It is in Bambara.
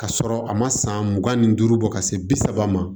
Ka sɔrɔ a ma san mugan ni duuru bɔ ka se bi saba ma